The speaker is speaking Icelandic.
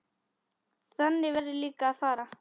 Þannig verður líka að fara.